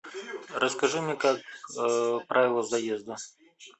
расскажи мне как правила заезда